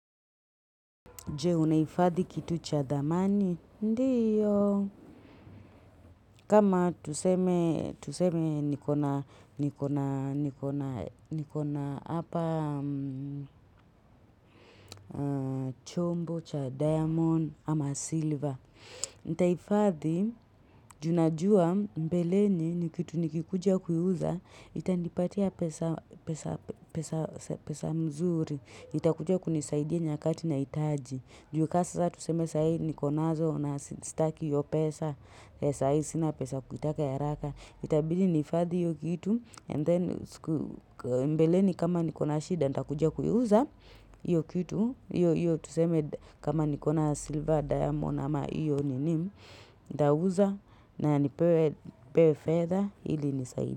Je, unaifadhi kitu cha thamani? Ndiyo. Kama tuseme tuseme nikona nikona nikona nikona apa chombo cha diamond ama silver. Nita ifadhi, ju najua mbeleni ni kitu nikikuja kuuza, itani patia pesa pesa pesa pesa mzuri. Itakuja kunisaidia nyakati na itaji. Ni juu ka sasa tuseme sahii nikonazo na staki hio pesa, sahii sina pesa kuitaka ya haraka. Itabili nihifadhi hiyo kitu and then siku mbeleni kama nikona shida ndakuja kui uza hiyo kitu. Hio hio tuseme kama nikona silver diamond ama hiyo ni nini. Nda uza na nipewe fedha ili ini saidi.